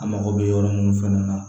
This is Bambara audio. A mako bɛ yɔrɔ min fɛnɛ na